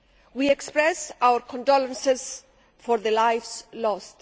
We express our condolences for the lives lost.